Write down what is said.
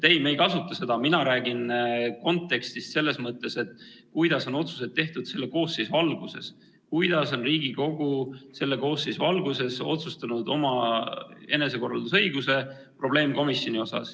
Ei, me ei kasuta seda viidet, mina räägin kontekstist selles mõttes, kuidas on otsused tehtud selle koosseisu alguses, st kuidas on Riigikogu selle koosseisu alguses otsustanud kasutada oma enesekorraldusõigust probleemkomisjoni luues.